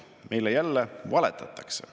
Meile jälle valetatakse.